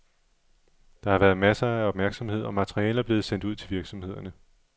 Der har været masser af opmærksomhed og materiale er blevet sendt ud til virksomhederne.